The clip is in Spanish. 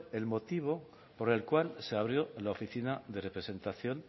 el motivo por el cual se abrió la oficina de representación